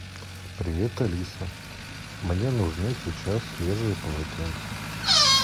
привет алиса мне нужны сейчас свежие полотенца